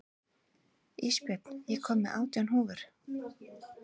Ísbjörn, ég kom með átján húfur!